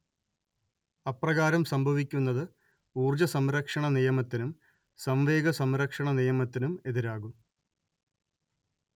അപ്രകാരം സംഭവിക്കുന്നത് ഊർജ്ജസംരക്ഷണനിയമത്തിനും സംവേഗസംരക്ഷണനിയമത്തിനും എതിരാകും